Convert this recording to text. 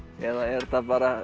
eða er þetta bara